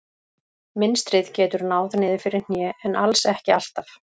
Mynstrið getur náð niður fyrir hné en alls ekki alltaf.